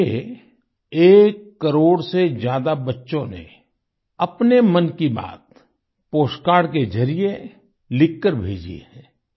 मुझे एक करोड़ से ज्यादा बच्चों ने अपने मन की बात पोस्ट कार्ड के जरिए लिखकर भेजी है